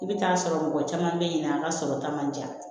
I bɛ taa sɔrɔ mɔgɔ caman bɛ yen nɔ an ka sɔrɔ ta man ca